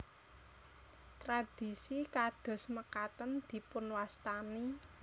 Tradisi kados mekaten dipunwastani